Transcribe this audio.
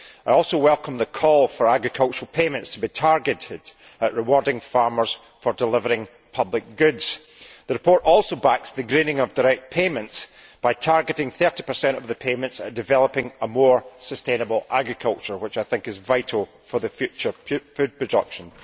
I also welcome the call for agricultural payments to be targeted at rewarding farmers for delivering public goods. The report also backs the greening of direct payments by targeting 30 of the payments at developing more sustainable agriculture, which I think is vital for future food production.